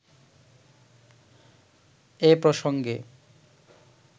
এ প্রসঙ্গে